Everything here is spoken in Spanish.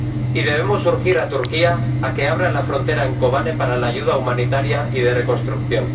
En segundo lugar, debemos urgir a Turquía a que abra la frontera en Kobane para la ayuda humanitaria y de reconstrucción.